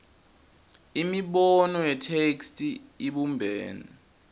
imibono yetheksthi ibumbene